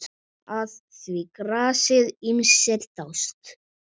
Að því grasi ýmsir dást.